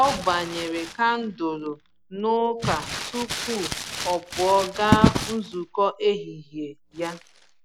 O gbanyere kandụlụ n'ụka tupu ọ pụọ gaa nzukọ ehihie ya.